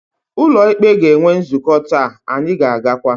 Ụlọ ikpe ga-enwe nzukọ taa, anyị ga-agakwa.